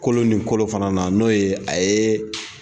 Kolo ni kolon fana na n'o ye a ye.